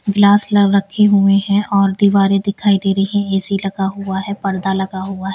गिलास रखे हुए हैं और दीवारें दिखाई दे रही हैं ए_सी लगा हुआ है पर्दा लगा हुआ है।